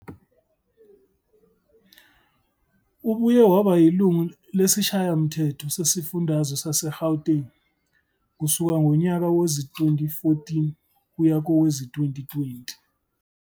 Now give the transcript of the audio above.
Ubuye waba yilungu lesiShayamthetho sesiFundazwe saseGauteng kusuka ngonyaka wezi-2014 kuya kowezi-2020.